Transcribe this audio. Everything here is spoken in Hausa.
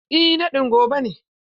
Eh naɗin gobe ne.